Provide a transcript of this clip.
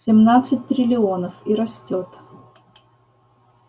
семнадцать триллионов и растёт